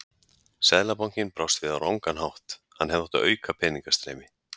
Seðlabankinn brást við á rangan hátt, hann hefði átt að auka peningastreymi.